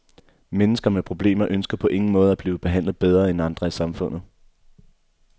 Mennesker med problemer ønsker på ingen måde at blive behandlet bedre end andre i samfundet.